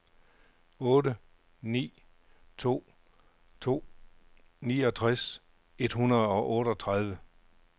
otte ni to to niogtres et hundrede og otteogtredive